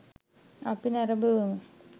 අපි නැරඹුවෙමු.